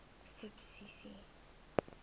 subsidies